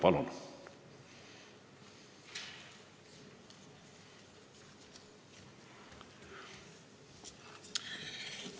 Palun!